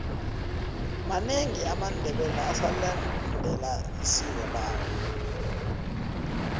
manengi amandebele asalendela isiko lawo